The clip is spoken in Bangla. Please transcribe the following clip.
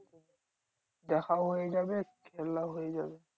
দেখাও হয়ে যাবে খেলাও হয়ে যাবে।